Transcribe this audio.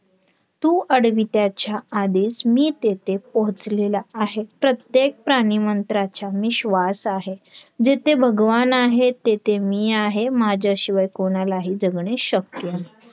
तू अडवित्याच्या आधीच मी तेथे पोहोचलेला आहे प्रत्येक प्राणि मत्रांचा मी श्वास आहे. जेथे भगवान आहे तेथे मी आहे माझ्याशिवाय कोणाला जगणे शक्य नाही